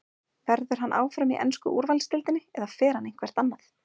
Verður hann áfram í ensku úrvalsdeildinni eða fer hann eitthvert annað?